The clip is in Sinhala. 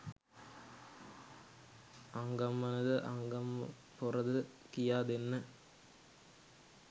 අංගම්මනද අංගම්පොරද කියාදෙන්න